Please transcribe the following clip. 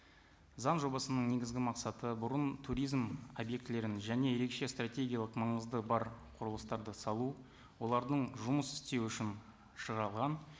заң жобасының негізгі мақсаты бұрын туризм объектілерін және ерекше стратегиялық маңызды бар құрылыстарды салу олардың жұмыс істеу үшін